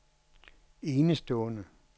enestående